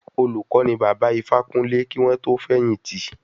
Olùkó ni Bàbá Ifákúnlé kí wọ́n tó fẹ̀yìn tì.